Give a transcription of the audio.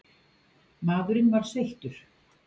Maðurinn var sveittur.